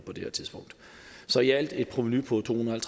på det her tidspunkt så i alt et provenu på to hundrede og